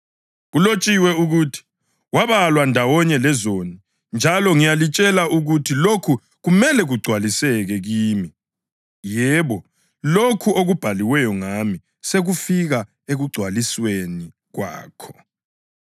Kulotshiwe ukuthi, ‘Wabalwa ndawonye lezoni’ + 22.37 U-Isaya 53.12 ; njalo ngiyalitshela ukuthi lokhu kumele kugcwaliseke kimi. Yebo, lokho okubhaliweyo ngami sekufika ekugcwalisweni kwakho.”